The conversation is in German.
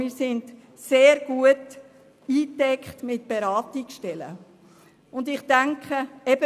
Wir sind also mit Beratungsstellen sehr gut eingedeckt.